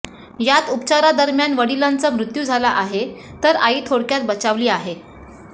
यात उपचारादरम्यान वडिलांचा मृत्यू झाला आहे तर आई थोडक्यात बचावली आहे